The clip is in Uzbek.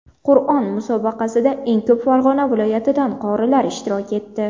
Qur’on musobaqasida eng ko‘p Farg‘ona viloyatidan qorilar ishtirok etdi.